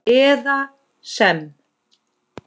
eða sem